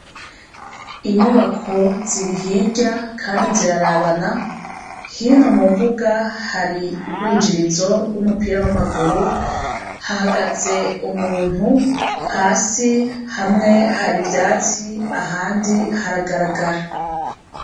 Inyubako ziri hirya Kandi zirababana, hino mumbuga hari yurwinjirizo rwumupira wamaguru, hahagaze umuntu hasi hamwe hari ivyatsi ahandi haragaragara.